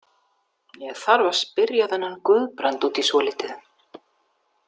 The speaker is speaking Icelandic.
Ég þarf að spyrja þennan Guðbrand út í svolítið.